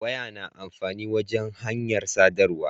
Waya na amfani wajan hanyar sadarwa